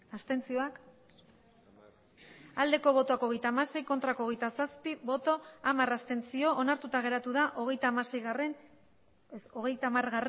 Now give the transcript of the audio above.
abstentzioa hogeita hamasei bai hogeita zazpi ez onartuta geratu da hogeita hamargarrena